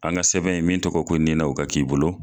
An ga sɛbɛn in min tɔgɔ ko nina o ka k'i bolo